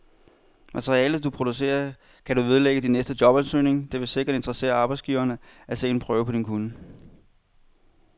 Materialet, du producerer, kan du vedlægge din næste jobansøgning, det vil sikkert interessere arbejdsgiveren at se en prøve på din kunnen.